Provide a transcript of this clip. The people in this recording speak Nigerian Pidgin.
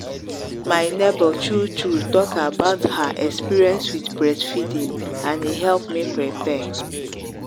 my neighbor true true talk about her experience with breast feeding and e help me prepare.